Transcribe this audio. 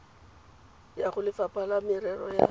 ya golefapha la merero ya